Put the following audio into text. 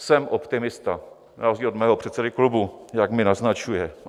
Jsem optimista na rozdíl od mého předsedy klubu, jak mi naznačuje .